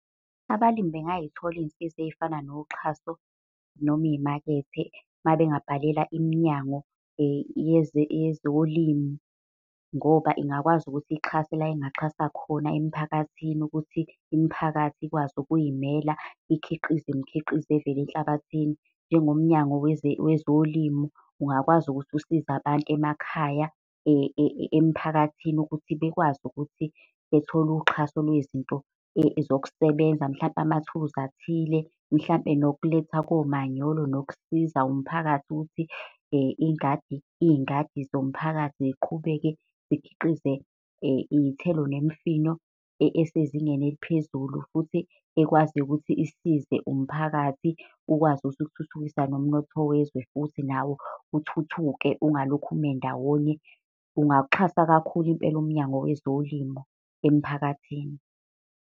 Abalimi bengay'thola iy'nsiza ey'fana noxhaso noma iy'makethe, uma bengabhalela iminyango yezolimo. Ngoba ingakwazi ukuthi ihxase la engaxhasa khona emphakathini ukuthi imiphakathi ikwazi ukuy'mela, ikhiqize imikhiqizo evela enhlabathini. Njengomnyango wezolimo ungakwazi ukuthi ukusize abantu emakhaya emphakathini ukuthi bekwazi ukuthi bethole uxhaso lwezinto zokusebenza. Mhlampe amathuluzi athile, mhlampe nokulethwa komanyolo, nokusiza umphakathi ukuthi ingadi, iy'ngadi zomphakathi ziqhubeke zikhiqize iy'thelo nemifino esezingeni eliphezulu futhi ekwaziyo ukuthi isize umphakathi ukwazi ukuthi uthuthukise nomnotho wezwe, futhi nawo uthuthuke ungalokhu ume ndawonye. Kungawuxhasa kakhulu impela umnyango wezolimo emphakathini.